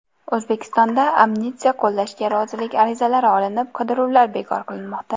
O‘zbekistonda amnistiya qo‘llashga rozilik arizalari olinib, qidiruvlar bekor qilinmoqda.